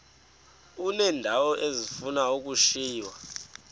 uneendawo ezifuna ukushiywa